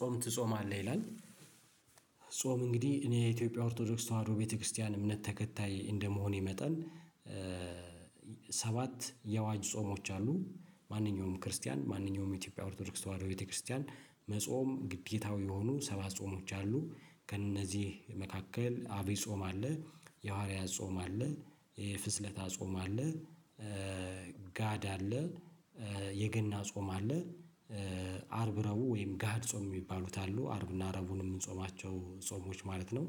ጾም ትጾማለህ ይላል? ጾም እንግዲህ እኔ የኢትዮጵያ ኦርቶዶክስ ተዋህዶ ቤተክርስቲያን እምነት ተከታይ እንደመሆኔ መጠን። ሰባት የአዋጅ ጾሞች አሉ ማንኛውም ክርስቲያን ማንኛውም የኢትዮጵያ ኦርቶዶክስ ተዋህዶ ቤተክርስቲያን መጾም ግዴታው የሆኑ ሰባት ጾሞች አሉ። ከእነዚህ መካከል አቤ ጾም አለ የሐዋርያ ጾም አለ የፍስለታ ጾም አለ ጋድ አለ የገና ጾም አለ አርብረቡዕ ወይም ጋድ ጾም የሚባሉት አሉ አርብና ረቡዕን የምንጾማቸው ጾሞች ማለት ነው።